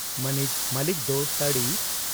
ᱢᱟᱹᱱᱤᱡ ᱢᱚᱞᱤᱠ ᱫᱚ ᱥᱟᱹᱲᱤ